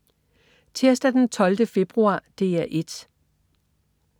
Tirsdag den 12. februar - DR 1: